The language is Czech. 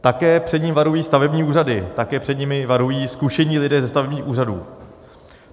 Také před ním varují stavební úřady, také před ním varují zkušení lidé ze stavebních úřadů.